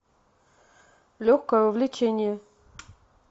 легкое увлечение